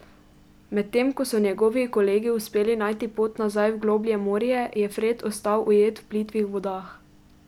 Medtem ko so njegovi kolegi uspeli najti pot nazaj v globlje morje, je Fred ostal ujet v plitvih vodah.